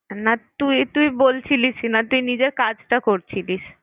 না তুই তুই বলছিলিস না তুই নিজের কাজটা করছিলিস।